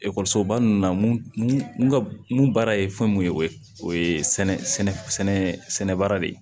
Ekɔlisoba ninnu na n ka mun baara ye fɛn mun ye o ye o ye sɛnɛ baara de ye